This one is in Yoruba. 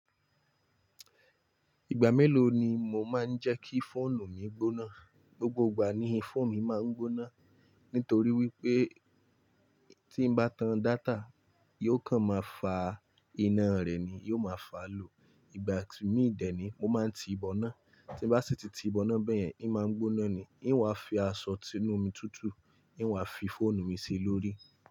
Ìgbà mélòó ni mo máa ń jẹ́ kí fóònù mi gbóná? Gbogbo ìgbà ni fóònù mi máa ń gbóná. Nítorí wípé tí ń bá tan data, yóò kàn máa fa iná rẹ ni, yóò máa fà á low. Ìgbà í mi dè ni mo máa ń ti ìbọná, tí n bá sì ti ti ìbọná bẹ́yẹn, í máa ń gbóná ni. Î wa fi aṣọ ti inú omi tutù, î wa fi fóònù mi sí lórí.